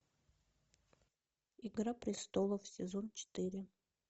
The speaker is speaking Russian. игра престолов сезон четыре